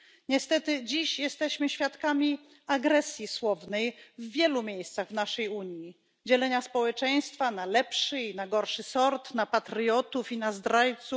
Niestety dziś jesteśmy świadkami agresji słownej w wielu miejscach w naszej Unii, dzielenia społeczeństwa na lepszy i na gorszy sort, na patriotów i na zdrajców.